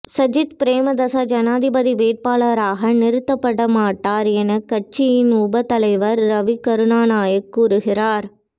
சஜித் பிரேமேதாச ஜனாதிபதி வேட்பாளராக நிறுத்தப்பட மாட்டார் என கட்சியின் உப தலைவர் ரவி கருாணநாயக்க கூறுகிறார்